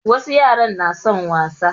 Wasu yaran na son wasa.